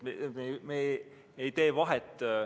Me ei tee neil vahet.